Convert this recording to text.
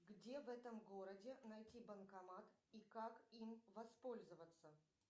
где в этом городе найти банкомат и как им воспользоваться